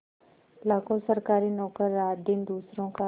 लाखों सरकारी नौकर रातदिन दूसरों का